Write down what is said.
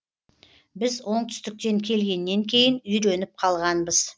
біз оңтүстіктен келгеннен кейін үйреніп қалғанбыз